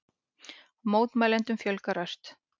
Mótmælendum fjölgar ört